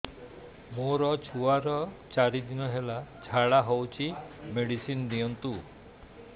ମୋର ଛୁଆର ଚାରି ଦିନ ହେଲା ଝାଡା ହଉଚି ମେଡିସିନ ଦିଅନ୍ତୁ